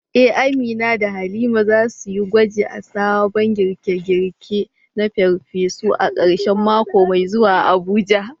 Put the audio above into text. Eh, Amina da Halima za su yi gwaji da sabon girke-girke na farfesu a karshen mako mai zuwa a Abuja.